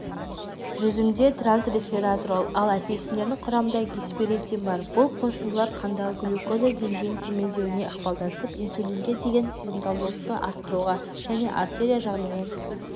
жүзімде транс-ресвератрол ал апельсиндердің құрамында гесперетин бар бұл қосындылар қандағы глюкоза деңгейінің төмендеуіне ықпалдасып инсулинге деген сезімталдылықты арттыруға және артерия жағдайын